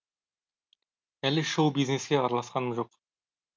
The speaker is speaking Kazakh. әлі шоу бизнеске араласқаным жоқ